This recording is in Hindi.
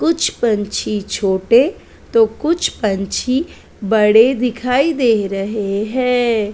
कुछ पंछी छोटे तो कुछ पंछी बड़े दिखाई दे रहे हैं ।